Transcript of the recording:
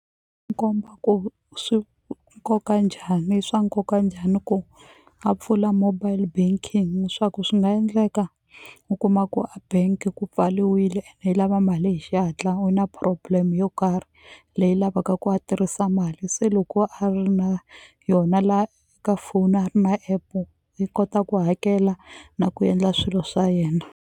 Komba ku swi nkoka njhani i swa nkoka njhani ku a pfula mobile banking swa ku swi nga endleka u kuma ku a bank ku pfaliwile ene i lava mali hi xihatla u na problem yo karhi leyi lavaka ku a tirhisa mali se loko a ri na yona la ka foni a ri na app-e yi kota ku hakela na ku endla swilo swa yena.